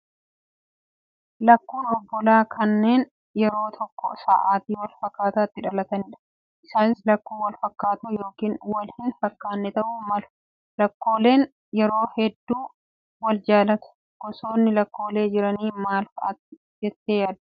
Lakkuun obbolaa kanneen yeroo tokko sa'aatii wal fakkaataatti dhalatanidha. Isaanis lakkuu wal fakkaatoo yookaan wal hin fakkaanne ta'uu malu. Lakkooleen yeroo hedduu wal jaallatu. Gosoonni lakkoolee jiranii maal fa'aati jettee yaadda?